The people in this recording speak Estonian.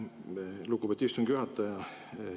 Aitäh, lugupeetud istungi juhataja!